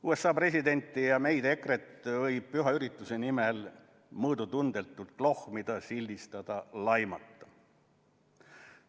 USA presidenti ja meid, EKRE-t, võib püha ürituse nimel mõõdutundetult klohmida, sildistada, laimata.